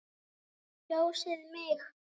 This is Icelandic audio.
Kjósið mig!